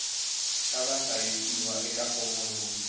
xa vahlayisiwa eka fomo yo